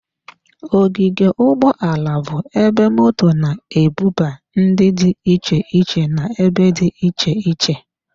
Ogige ụgbọ ala bụ ebe moto na-ebuba ndị dị iche iche n'ebe dị iche iche.